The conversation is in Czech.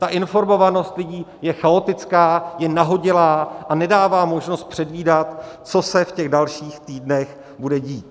Ta informovanost lidí je chaotická, je nahodilá a nedává možnost předvídat, co se v těch dalších týdnech bude dít.